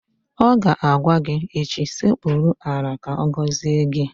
Ọ ga-agwa gị echi "Sekpuru ala ka agọzie gị!